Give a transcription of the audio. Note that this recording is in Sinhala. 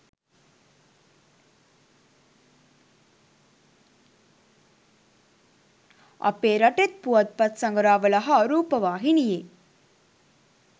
අපේ රටෙත් පුවත්පත් සඟරාවල හා රූපවාහිනියේ